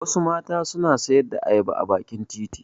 Wasu mata suna sayar da ayaba a bakin titi.